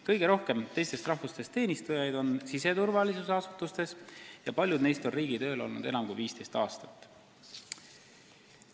Kõige rohkem teistest rahvustest teenistujaid on siseturvalisuse asutustes ja paljud neist on riigitööl olnud enam kui 15 aastat.